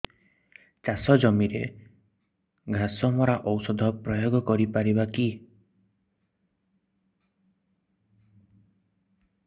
ଚାଷ ଜମିରେ ଘାସ ମରା ଔଷଧ ପ୍ରୟୋଗ କରି ପାରିବା କି